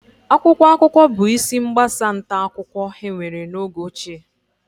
Akwụkwọ akụkọ bụ isi mgbasa nta akụkọ enwere n'oge ochie